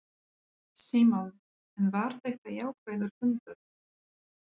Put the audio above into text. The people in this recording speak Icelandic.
Símon: En var þetta jákvæður fundur?